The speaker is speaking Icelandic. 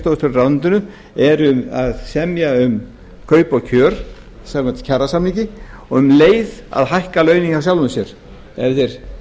skrifstofustjórar í ráðuneytinu eru að semja um kaup og kjör samkvæmt kjarasamningi og um leið að hækka launin hjá sjálfum sér ef þeir